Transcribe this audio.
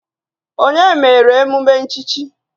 Onye mere emume nchichi?